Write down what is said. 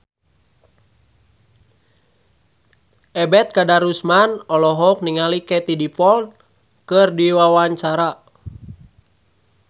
Ebet Kadarusman olohok ningali Katie Dippold keur diwawancara